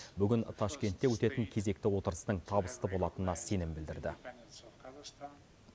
бүгін ташкентте өтетін кезекті отырыстың табысты болатынына сенім білдірді